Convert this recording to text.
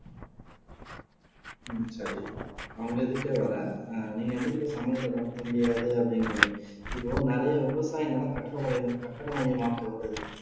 உம் சரி நான் உங்க இதுக்கே வரேன் ஆஹ் நீங்க வந்துட்டு இப்ப சமநிலையில படுத்த முடியாது அப்படின்றீங்க இப்போ நிறைய விவசாய நிலம் கட்டடம் மைய கட்டிட மையமாக்கப்படுது